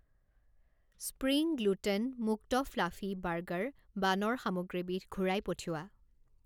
Spring gluten মুক্ত fluffy burger বানৰ সামগ্ৰীবিধ ঘূৰাই পঠিওৱা।